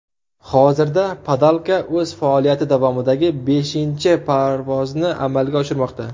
Hozirda Padalka o‘z faoliyati davomidagi beshinchi parvozni amalga oshirmoqda.